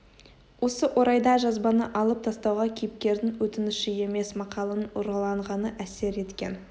осы орайда жазбаны алып тастауға кейіпкердің өтініші емес мақаланың ұрланғаны әсер еткен